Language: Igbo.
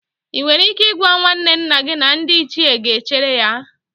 Ị nwere ike ịgwa nwanne nna gị na ndị Ichie ga-echere ya?